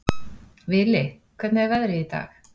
Vili, hvernig er veðrið í dag?